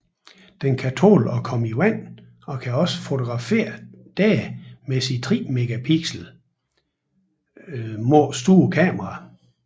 Den kan tåle at komme i vand og kan også fotografere der med sit 3 mp må store kamera